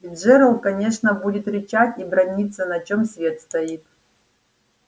и джералд конечно будет рычать и браниться на чём свет стоит